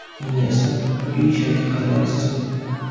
Investor yoki sherik qidiryapsizmi?